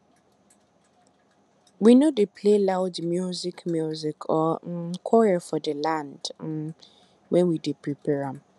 we no dey play loud music music or um quarrel for the land um when we dey prepare am